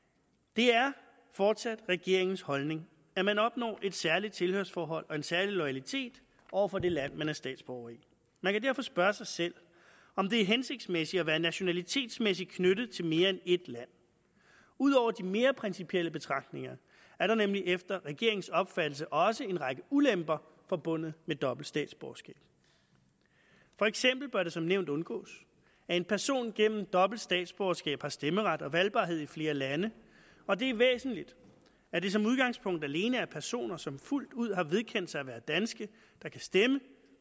det er fortsat regeringens holdning at man opnår et særligt tilhørsforhold og en særlig loyalitet over for det land man er statsborger i man kan derfor spørge sig selv om det er hensigtsmæssigt at være nationalitetsmæssigt knyttet til mere end ét land ud over de mere principielle betragtninger er der nemlig efter regeringens opfattelse også en række ulemper forbundet med dobbelt statsborgerskab for eksempel bør det som nævnt undgås at en person gennem dobbelt statsborgerskab har stemmeret og valgbarhed i flere lande og det er væsentligt at det som udgangspunkt alene er personer som fuldt ud har vedkendt sig at være danske der kan stemme